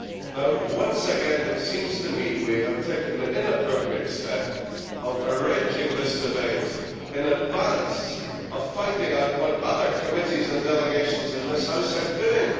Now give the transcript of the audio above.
Now once again it seems to me that we have taken the inappropriate step of arranging this debate in advance of finding out what other committees and delegations in this House are doing.